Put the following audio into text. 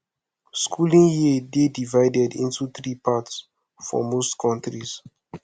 schooling year dey divided into three parts for most countries